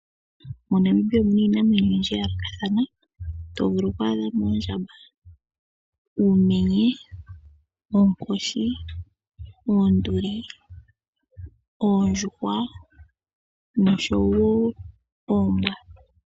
MoNamibia omuna iinamwenyo oyindji. Oto vulu okwaadhamo oondjamba, uumenye, oompo, oondjuhwa, oonduli oshowo oonkoshi.